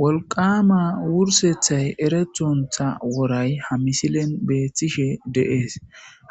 wolqama wursethay erethontha woray ha misilen beettishe deees